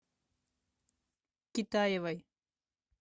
китаевой